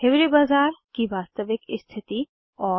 हिवारे बाजार की वास्तविक स्थिति और 3